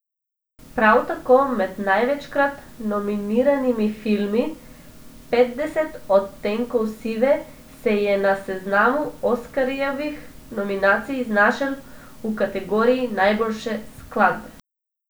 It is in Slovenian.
Prav tako med največkrat nominiranimi filmi Petdeset odtenkov sive, se je na seznamu oskarjevih nominacij znašel v kategoriji najboljše skladbe.